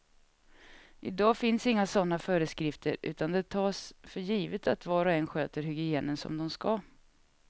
I dag finns inga sådana föreskrifter utan det tas för givet att var och en sköter hygienen som de ska.